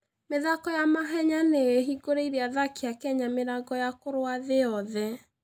mĩthako ya mahenya nĩ ĩhingũrĩte athaki a Kenya mĩrango ya kũrũa thĩ yothe.